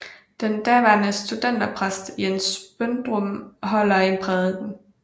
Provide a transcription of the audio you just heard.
Den daværende studenterpræst Jens Brøndum holder en prædiken